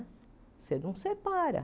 Você não separa.